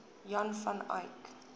jan van eyck